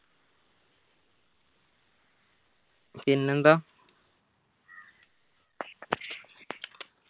പിന്നെന്താ